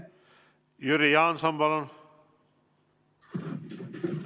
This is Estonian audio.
Jüri Jaanson, palun!